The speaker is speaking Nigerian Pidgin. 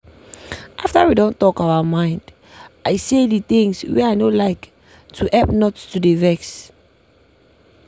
after we don talk our mond i say the things wey i no like to help not to dey vex.